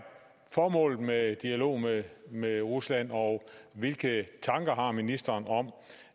formålet med dialog med med rusland og hvilke tanker har ministeren om